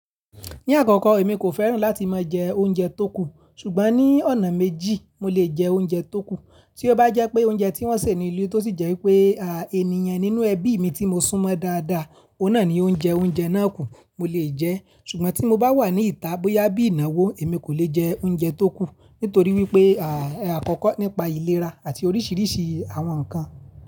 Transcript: Ní àkọ́kọ́, èmi kò fẹ́ràn láti máa jẹ oúnjẹ tóku, ṣùgbọ́n ní ọ̀nà méjì mo lè jẹ oúnjẹ tóku. Tí ó bá jẹ́ pé oúnjẹ tí wọ́n sè ní ile tó sì jẹ́ wípé, ènìyàn nínú ẹbí mi tí mo sún mọ́ dáadáa, òun náà ni ó ń jẹ oúnjẹ náà kù, mo lè jẹ́. Ṣùgbọ́n tí mo bá wà ní ìta bóyá bí ìnáwó, èmi kò lè jẹ oúnjẹ tóku. Nítorí wípé, àkọ́kọ́ nípa ìlera àti oríṣiríṣi àwọn ǹnkan.